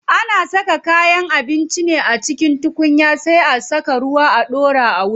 Ana saka kayan abinci ne a cikin tukunya sai a saka ruwa a ɗora a wuta.